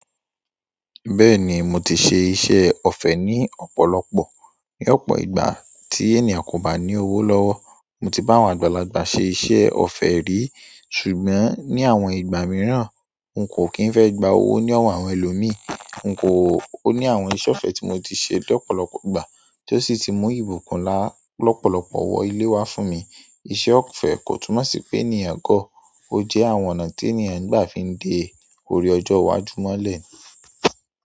Bẹ́ẹ̀ni, mo ti ṣe iṣẹ́ ọ̀fẹ́ ní ọ̀pọ̀lọpọ̀. Ní ọ̀pọ̀ ìgbà tí ènìyàn kò bá ní owó lọ́wọ́, mo ti bá wọn àgbàlagbà ṣe iṣẹ́ ọ̀fẹ́ rí. Ṣùgbọ́n ní àwọn ìgbà mìíràn, n kò kí ń fẹ́ gba owó ní ọ̀wọ́ àwọn ẹlòmíì. N kò ó ní àwọn iṣẹ́ ọ̀fẹ́ tí mo ti ṣe lọ́pọ̀lọpọ̀ ìgbà tó sì ti mú ìbùkún lọ́pọ̀lọpọ̀ wọ ilé wa fún mi. Iṣẹ́ ọ̀fẹ́ kò túnmọ̀ sí pé ni ènìyàn gọ. Ó jẹ́ àwọn ọ̀nà tí ènìyàn ń gbà fi ń de ọ̀rẹ́ ọjọ́ iwájú mọ́lẹ̀.